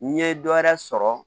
N ye dɔ wɛrɛ sɔrɔ